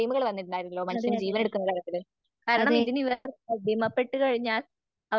അതെയതെ, അതെയതെ